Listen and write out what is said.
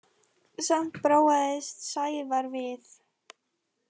Samt þráaðist Sævar við.